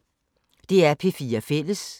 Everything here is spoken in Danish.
DR P4 Fælles